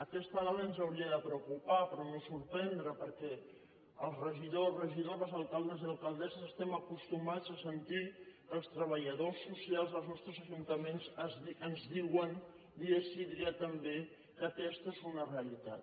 aquesta dada ens hauria de preocupar però no sorprendre perquè els regidors regidores alcaldes i alcaldesses estem acostumats a sentir que els treballadors socials dels nostres ajuntaments ens diuen dia sí dia també que aquesta és una realitat